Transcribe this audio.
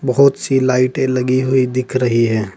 बहुत सी लाइटें लगी हुई दिख रही है।